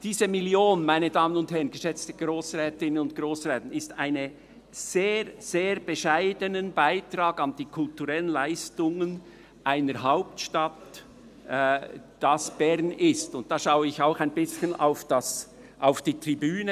Diese Million ist ein sehr, sehr bescheidener Beitrag an die kulturellen Leistungen einer Hauptstadt, die Bern ist, und da schaue ich auch ein bisschen zur Tribüne.